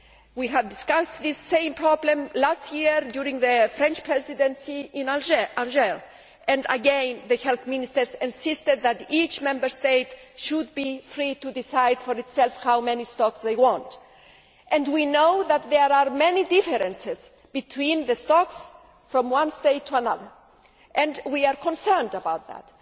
We discussed the same problem last year in Angers during the French Presidency and, again, the health ministers insisted that each Member State should be free to decide for itself how many stocks it wanted. We know that there are many differences between the stocks from one state to another, and we are concerned about that.